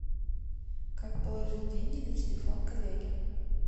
как положить деньги на телефон коллеге